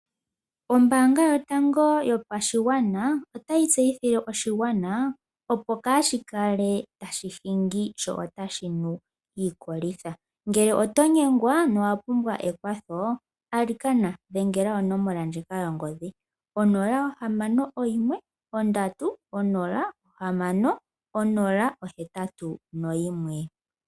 Ombaanga yotango yopashigwana otayi tseyithile oshigwana opo kaashi kale tashi hingi sho otashi nu iikolitha. Ngele oto nyengwa no wapumbwa ekwatho alikana dhengela onomola ndjika yongodhi onola ohamano oyimwe ondatu onola ohamano onola ohetatu noyimwe.